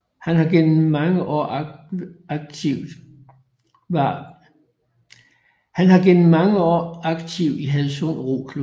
Han har gennem mange år aktiv i Hadsund Roklub